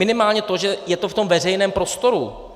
Minimálně to, že je to v tom veřejném prostoru.